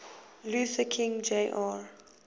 luther king jr